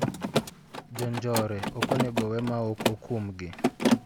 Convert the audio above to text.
Jonjore ok onego owe maok okumgi.